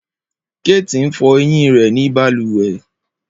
Kate n fọ eyin rẹ ni baluwe.